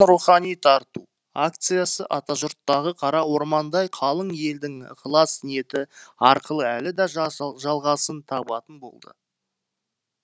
рухани тарту акциясы атажұрттағы қара ормандай қалың елдің ықылас ниеті арқылы әлі де жалғасын табатын болды